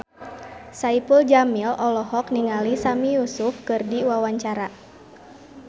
Saipul Jamil olohok ningali Sami Yusuf keur diwawancara